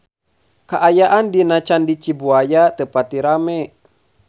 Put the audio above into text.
Kaayaan di Candi Cibuaya teu pati rame